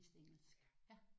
Ja